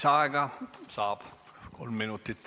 Lisaaega saab kolm minutit.